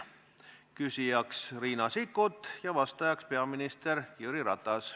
Küsija on Riina Sikkut ja vastaja peaminister Jüri Ratas.